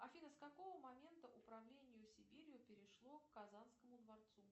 афина с какого момента управление сибирью перешло к казанскому дворцу